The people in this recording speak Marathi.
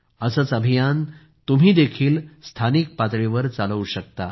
असेच अभियान तुम्हीही स्थानिक पातळीवर चालवू शकता